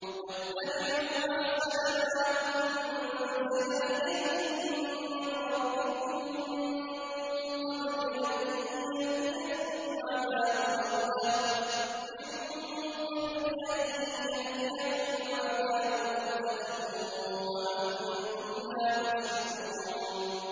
وَاتَّبِعُوا أَحْسَنَ مَا أُنزِلَ إِلَيْكُم مِّن رَّبِّكُم مِّن قَبْلِ أَن يَأْتِيَكُمُ الْعَذَابُ بَغْتَةً وَأَنتُمْ لَا تَشْعُرُونَ